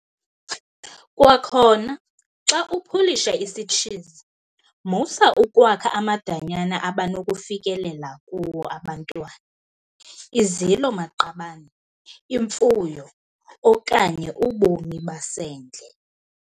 Kwakhona, xa upulisha isitshizi, musa ukwakha amadanyana abanokufikelela kuwo abantwana, izilo-maqabane, imfuyo okanye ubomi basendle.